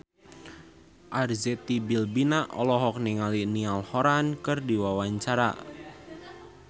Arzetti Bilbina olohok ningali Niall Horran keur diwawancara